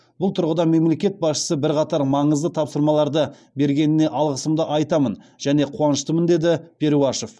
бұл тұрғыда мемлекет басшысы бірқатар маңызды тапсырмаларды бергеніне алғысымды айтамын және қуаныштымын деді перуашев